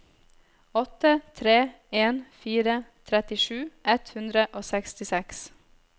åtte tre en fire trettisju ett hundre og sekstiseks